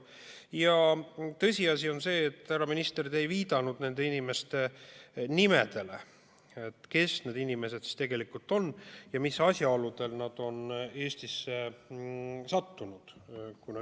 Ja tõsiasi on see, härra minister, et te ei viidanud nende inimeste nimedele, sellele, kes need inimesed tegelikult on ja mis asjaoludel nad on Eestisse sattunud.